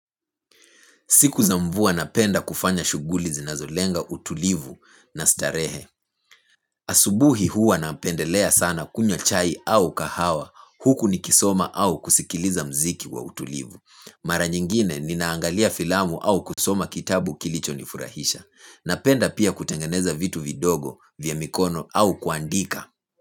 Siku za mvua napenda kufanya shughuli zinazolenga utulivu na starehe. Asubuhi huwa napendelea sana kunywa chai au kahawa huku nikisoma au kusikiliza muziki wa utulivu. Mara nyingine ninaangalia filamu au kusoma kitabu kilicho nifurahisha. Napenda pia kutengeneza vitu vidogo vya mikono au kuandika.